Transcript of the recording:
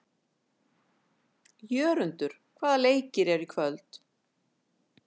Jörundur, hvaða leikir eru í kvöld?